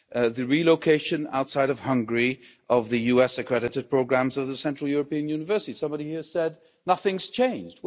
The relocation outside of Hungary of the US accredited programmes of the Central European University somebody here said nothing's changed'.